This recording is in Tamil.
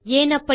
ஏன் அப்படி